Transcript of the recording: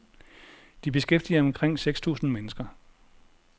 De beskæftiger omkring seks tusind mennesker.